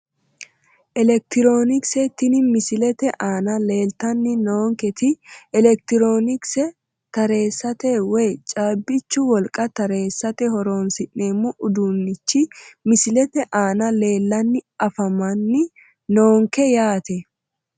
Elektironikse tini misilete aana laaltanni noonketi elektironikse tareessate woyi caabbichu wolqa tareessate horonsi'neemmo uduunnichi misilete aana leellanni afamanni noonke yaate